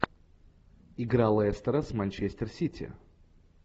игра лестера с манчестер сити